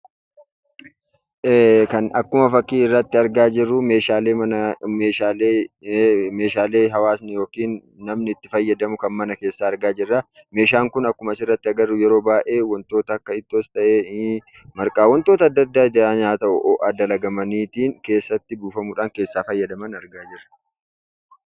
Akkuma fakkii irratti argaa jirru meeshaalee hawaasni yookan namni itti fayyadamu mana keessa argaa jirra. Meeshaan kun akkuma asirratti agarru yeroo baay'ee wantoota akka ittoos ta'e, marqaa wantoota adda addaa nyaata ta'u itti dalagaman keessatti buufamuudhaan keessaa fayyadaman argaa jirra.